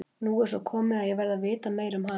Nú er svo komið að ég verð að vita meira um hana.